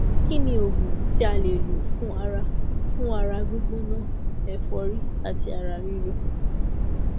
kí ni oògùn tí a lè lò fún ara fún ara gbigbona ẹfọrí àti ara ríro